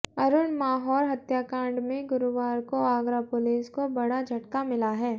अरुण माहौर हत्याकांड में गुरुवार को आगरा पुलिस को बड़ा झटका मिला है